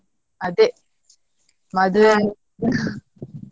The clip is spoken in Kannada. ಅದೇ .